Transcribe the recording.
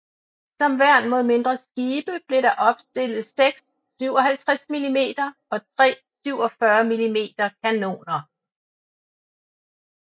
Som værn mod mindre skibe blev der opstillet seks 57 mm og tre 47 mm kanoner